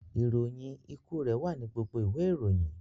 Ìròyìn ikú rẹ wà ní gbogbo ìwé ìròyìn...